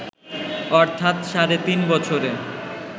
অর্থাৎ সাড়ে তিন বছরে